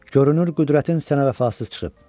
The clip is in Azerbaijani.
Görünür qüdrətin sənə vəfasız çıxıb.